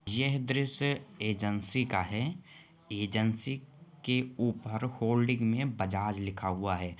यह दृश्य एजेंसी का है एजेंसी के ऊपर होल्डिंग में बजाज लिखा हुआ हैं।